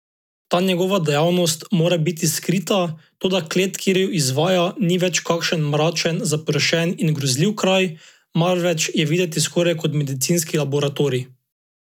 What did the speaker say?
Ta njegova dejavnost mora biti skrita, toda klet, kjer jo izvaja, ni več kakšen mračen, zaprašen in grozljiv kraj, marveč je videti skoraj kot medicinski laboratorij.